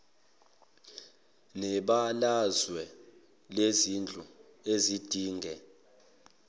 nebalazwe lezindlu ezidinge